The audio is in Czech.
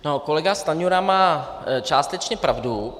Kolega Stanjura má částečně pravdu.